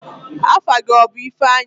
Afa gị ọ bụ ifeanyi?